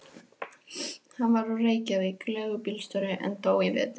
Hann var úr Reykjavík, leigubílstjóri, en dó í vetur.